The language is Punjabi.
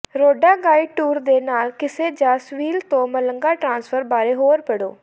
ਰੋਂਡਾ ਗਾਈਡਡ ਟੂਰ ਦੇ ਨਾਲ ਕਿਸੇ ਜਾਂ ਸੇਵੀਲ ਤੋਂ ਮਲਗਾ ਟ੍ਰਾਂਸਫਰ ਬਾਰੇ ਹੋਰ ਪੜ੍ਹੋ